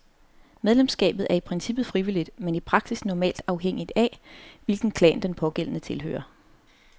Medlemskabet er i princippet frivilligt, men i praksis normalt afhængig af, hvilke klan den pågældende tilhører.